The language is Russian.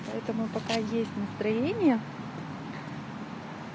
поэтому пока есть настроение